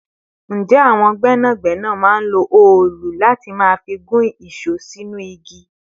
Ǹjẹ́ àwọn gbẹ́nàgbẹ́nà máa ń lo òòlù láti máa fi gún ìṣó sínú igi?